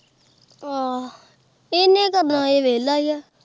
ਆਹ ਇਹਨੇ ਕੀ ਕਰਨਾ ਇਹ ਵਿਹਲਾ ਹੀ ਏ।